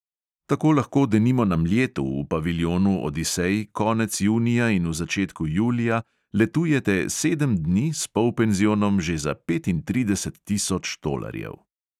Tako lahko denimo na mljetu v paviljonu odisej konec junija in v začetku julija letujete sedem dni s polpenzionom že za petintrideset tisoč tolarjev.